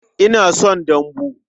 Ina son dambu.